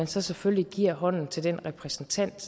så selvfølgelig giver hånden til den repræsentant